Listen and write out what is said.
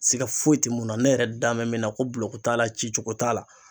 Siga foyi te mun na ne yɛrɛ da mɛ min na ko bulɔku t'a la ci cogo t'a la